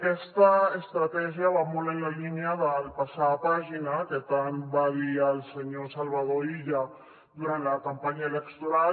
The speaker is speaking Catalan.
aquesta estratègia va molt en la línia del passar pàgina que tant va dir el senyor salvador illa durant la campanya electoral